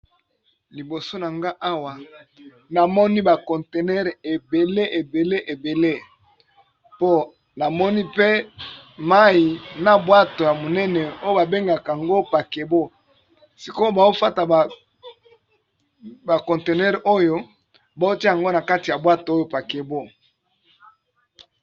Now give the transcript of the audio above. Liboso nanga awa namoni ba contenere ebele ebele ebele po namoni pe mayi na bwato ya monene oyo ba bengaka yango pakebo, sikoyo bao fata ba contenere oyo bao tia yango na kati ya bwato oyo pakebo.